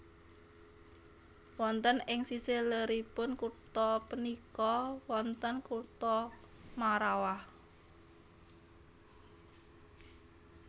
Wonten ing sisih leripun kutha punika wonten kutha Marrawah